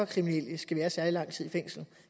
kriminelle skal være særlig lang tid i fængslet